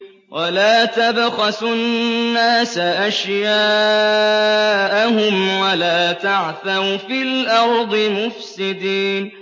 وَلَا تَبْخَسُوا النَّاسَ أَشْيَاءَهُمْ وَلَا تَعْثَوْا فِي الْأَرْضِ مُفْسِدِينَ